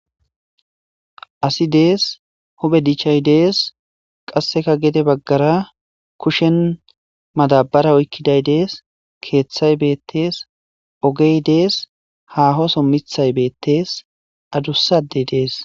Asi des huphe dichay des qaseka gede bagara kushen madabara oykiday des kethay betes ogey des haho son mithay betes adusa adey des.